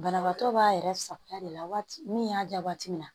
Banabaatɔ b'a yɛrɛ sagoya de la waati min y'a diya waati min na